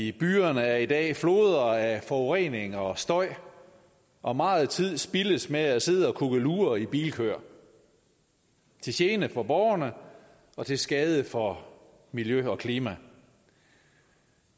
i byerne er i dag floder af forurening og støj og meget tid spildes med at sidde og kukkelure i bilkøer til gene for borgerne og til skade for miljø og klima